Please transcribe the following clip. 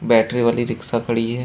Battery वाली रिक्सा खड़ी है।